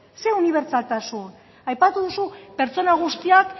ze unibertsaltasun aipatu duzu pertsona guztiak